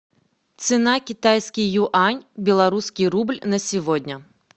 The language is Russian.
цена китайский юань белорусский рубль на сегодня